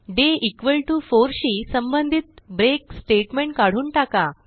day 4 शी संबंधित break statement काढून टाका